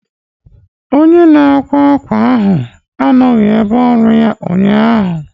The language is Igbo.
Onye na-akwa akwa ahụ anọghị n'ebe ọrụ ya ụnyaahụ.